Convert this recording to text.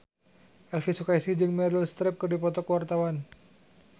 Elvi Sukaesih jeung Meryl Streep keur dipoto ku wartawan